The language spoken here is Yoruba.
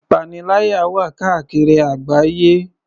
Ìpaniláyà wà káàkiri àgbáyé.